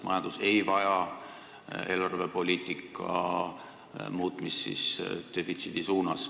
Majandus ei vaja eelarvepoliitika muutmist defitsiidi poole.